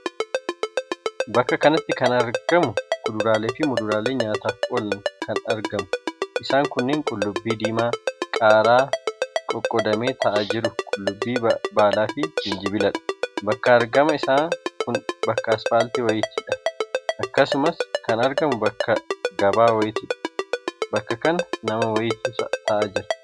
Bakka kanatti kan argamu kuduraaleefi muduraalee nyaataaf oolan kan argamu. isaan kunneen qullubbii diimaa, qaaraaqoqodamee taa'aa jiru, qullubbii baalaafi jijinbiladha. bakka argama isaa kun bakka asfaalti wayiitidha. Akkasumas kan argamu bakka Gabaa wayiitidha bakka kana nama wayiitu taa'aa jira.